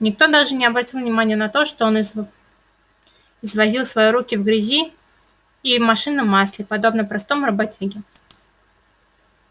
никто даже не обратил внимания на то что он извозил свои руки в грязи и машинном масле подобно простому работяге